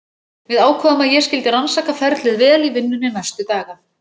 Við ákváðum að ég skyldi rannsaka ferlið vel í vinnunni næstu daga.